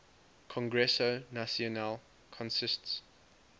congreso nacional consists